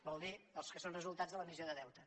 vol dir els que són resultat de l’emissió de deute